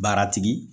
Baaratigi